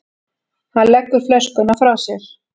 Hann leggur flöskuna frá sér.